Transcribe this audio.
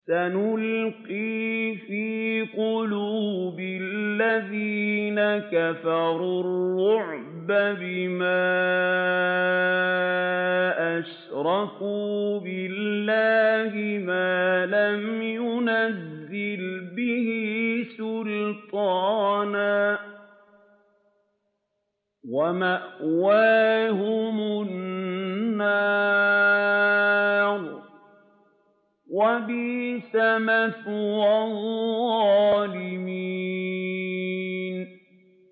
سَنُلْقِي فِي قُلُوبِ الَّذِينَ كَفَرُوا الرُّعْبَ بِمَا أَشْرَكُوا بِاللَّهِ مَا لَمْ يُنَزِّلْ بِهِ سُلْطَانًا ۖ وَمَأْوَاهُمُ النَّارُ ۚ وَبِئْسَ مَثْوَى الظَّالِمِينَ